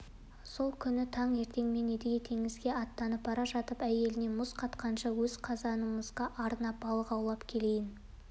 сол күні таң ертеңмен едіге теңізге аттанып бара жатып әйеліне мұз қатқанша өз қазанымызға арнап балық аулап келейін